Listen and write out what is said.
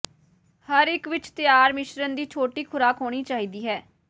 ਹਰ ਇੱਕ ਵਿਚ ਤਿਆਰ ਮਿਸ਼ਰਣ ਦੀ ਛੋਟੀ ਖੁਰਾਕ ਹੋਣੀ ਚਾਹੀਦੀ ਹੈ